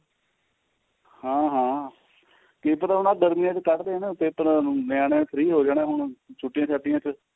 ਹਾਂ ਹਾਂ ਕੀ ਪਤਾ ਹੁਣ ਆਹ ਗਰਮੀਆਂ ਚ ਕੱਢ ਦੇਣ ਪੇਪਰਾਂ ਨੂੰ ਨਿਆਣੇ free ਹੋ ਜਾਣੇ ਹੁਣ ਛੁੱਟੀਆਂ ਛਾਟੀਆਂ ਚ